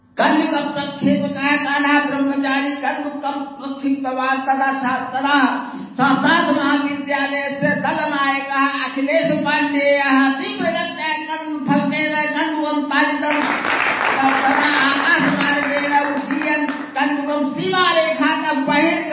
sound clip of cricket commentary